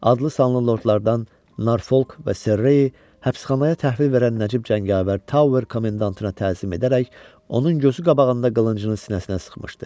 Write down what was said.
Adlı-sanlı lordlardan Norfok və Serreyi həbsxanaya təhvil verən nəcib cəngavər Tower komendantına təhsil edərək onun gözü qabağında qılıncını sinəsinə sıxmışdı.